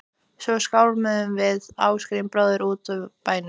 Svo skálmuðum við Ásgrímur bróðir út úr bænum.